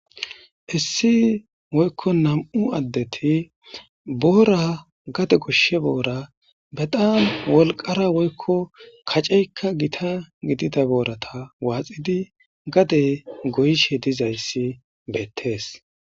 Issi woykko nam'u addeti boora gade goshshe boora betam wolqara woykko kaceykka gita gidida boorata waaxidi gade goyishe dizayssi beettees.